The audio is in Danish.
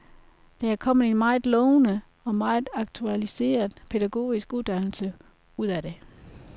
Der er kommet en meget lovende og meget aktualiseret pædagogisk uddannelse ud af det.